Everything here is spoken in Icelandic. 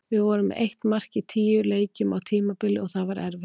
Við vorum með eitt mark í tíu leikjum á tímabili og það var erfitt.